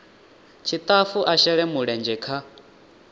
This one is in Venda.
tshitafu a shele mulenzhe kha